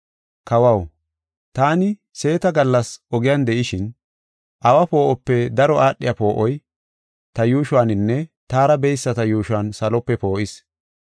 Kawaw, taani seeta gallas ogen de7ishin awa poo7ope daro aadhiya poo7oy ta yuushuwaninne taara beyisata yuushuwan salope poo7is.